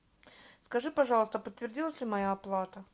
скажи пожалуйста подтвердилась ли моя оплата